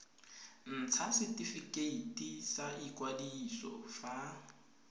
ntsha setifikeiti sa ikwadiso fa